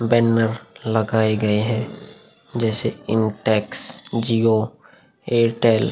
Banner लगाए गए हैं जैसे इंटेक्स जिओ एयरटेल ।